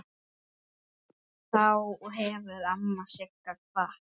Þá hefur amma Sigga kvatt.